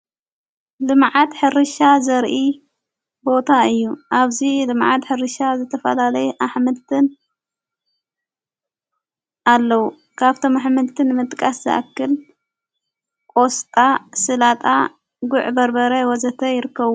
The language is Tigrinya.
ልመዓት ሕርሻ ዘርኢ ቦታ እዩ ኣብዙይ ድመዓት ሕርሻ ዝተፈላለይ ኣኅምልተን ኣለዉ ካብቶም ኣኅምልትን ምጥቃስ ዝኣክል ቆስጣ ፣ ሥላጣ ፣ጉዕ በርበረ ወዘተ ይርከቡ።